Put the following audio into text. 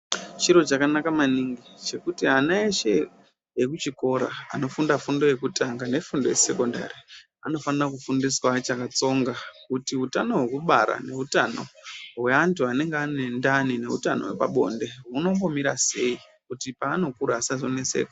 Chiro chakanaka maningi chekuti ana eshe anofunda fundo yekutanga nefundo yesekondari anofana kufundiswa achakatsonga kuti hutano hwekubara nehutano hweantu anenga aine ndani nehutano hweantu hwepabonde hunombomira sei kuto paanokura asazonetseka .